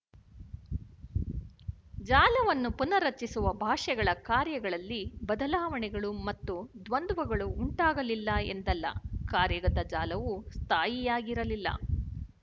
ಜಾಲವನ್ನು ಪುನರ್ರಚಿಸಿದ ಭಾಷೆಗಳ ಕಾರ್ಯಗಳಲ್ಲಿ ಬದಲಾವಣೆಗಳು ಮತ್ತು ದ್ವಂದ್ವಗಳು ಉಂಟಾಗಲಿಲ್ಲ ಎಂದಲ್ಲ ಕಾರ್ಯಗತ ಜಾಲವು ಸ್ಥಾಯಿಯಾಗಿರಲಿಲ್ಲ